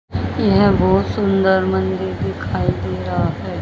यह बहुत सुंदर मंदिर दिखाई दे रहा है।